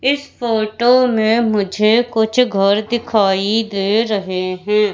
इस फोटो में मुझे कुछ घर दिखाई दे रहे हैं।